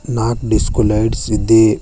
ನಾಕ್ disco lights ಇದ್ದಿ